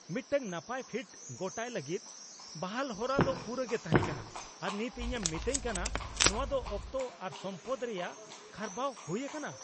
ᱢᱤᱫᱴᱟᱝ ᱱᱟᱯᱟᱭ ᱯᱷᱤᱴ ᱜᱚᱴᱟᱭ ᱞᱟᱹᱜᱤᱫ ᱵᱟᱦᱟᱞ ᱦᱚᱨᱟᱫᱚ ᱯᱩᱨᱟᱹᱜᱮ ᱛᱟᱦᱮᱸ ᱠᱟᱱᱟ ᱟᱨ ᱱᱤᱛ ᱤᱧᱮᱢ ᱢᱮᱛᱟᱧ ᱠᱟᱱᱟ ᱱᱚᱶᱟ ᱫᱚ ᱚᱠᱛᱚ ᱟᱨ ᱥᱚᱢᱯᱚᱫᱽ ᱨᱮᱭᱟᱜ ᱠᱷᱟᱨᱵᱟᱣ ᱦᱩᱭ ᱟᱠᱟᱱᱟ ᱾